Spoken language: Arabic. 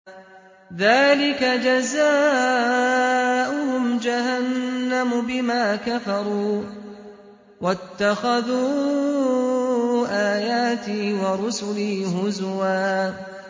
ذَٰلِكَ جَزَاؤُهُمْ جَهَنَّمُ بِمَا كَفَرُوا وَاتَّخَذُوا آيَاتِي وَرُسُلِي هُزُوًا